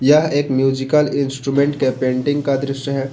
यह एक musical instrument के पेंटिंग का दृश्य है।